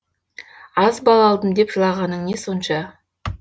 аз балл алдым деп жылағаның не сонша